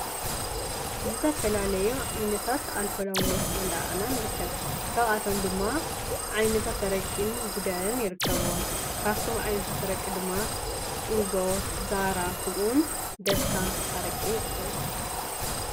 ዝተፋላለዩ ዓይነታት ኣልኮላዊ መስተታት እንዳረኣና ንርከብ፡፡ ካብኣቶም ድማ ዓይነታት ኣረቂን ጉደርን ይርከብዎም፡፡ ካብቶም ዓይነታት ኣረቂ ድማ ኡዞ፣ ዛህራ ከምኡ እውን ደስታ ኣረቂ ይርከብዎም፡፡